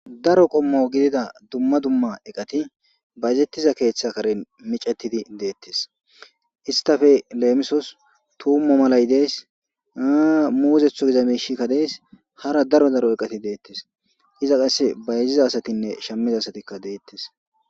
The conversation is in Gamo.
Daro qommo gidida dumma dumma eqati bayezettiza keeththe karen micetidi deettes istafe leemisos tuummo malay dees muuzetho giza miishikka dees hara daro daro eqati deettes iza qasse ba yeziza asatinne shammiza asatikka deettes